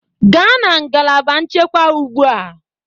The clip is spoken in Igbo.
Gaa na ngalaba nchekwa ugbu a.